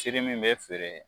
min bɛ feere